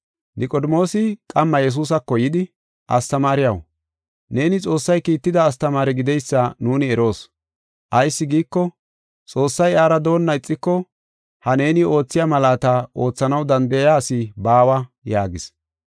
Niqodimoosi qamma Yesuusako yidi, “Astamaariyaw, neeni Xoossay kiitida astamaare gideysa nuuni eroos. Ayis giiko, Xoossay iyara doonna ixiko ha neeni oothiya malaata oothanaw danda7iya asi baawa” yaagis.